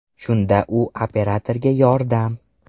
Shunda u operatorga ‘Yordam.